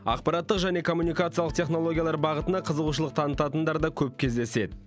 ақпараттық және коммуникациялық технологиялар бағытына қызығушылық танытатындар да көп кездеседі